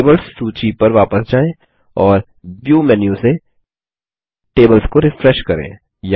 tables सूची पर वापस जाएँ और व्यू मेन्यू से टेबल्स को रिफ्रेश करें